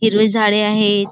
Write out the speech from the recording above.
हिरवे झाडे आहेत.